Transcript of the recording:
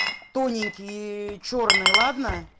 тоненькие чёрные ладно